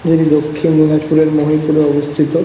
এটি দক্ষিণ দিনাজপুরের মহিপুরে অবস্থিত।